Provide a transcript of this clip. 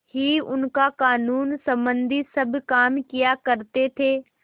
ही उनका कानूनसम्बन्धी सब काम किया करते थे